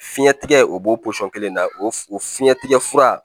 Fiɲɛtigɛ o b'o pɔsɔn kelen na o fiɲɛtigɛ fura